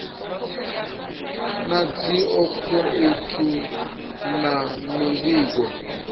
na dzi akhouthu na mivhigo